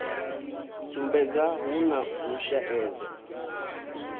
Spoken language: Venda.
sumbedza hu na u shaedza